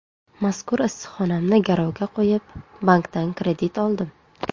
Mazkur issiqxonamni garovga qo‘yib, bankdan kredit oldim.